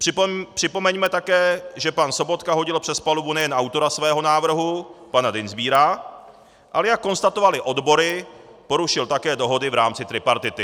Připomeňme také, že pan Sobotka hodil přes palubu nejen autora svého návrhu pana Dienstbiera, ale jak konstatovaly odbory, porušil také dohody v rámci tripartity.